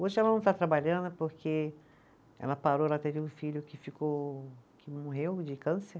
Hoje ela não está trabalhando porque ela parou, ela teve um filho que ficou, que morreu de câncer.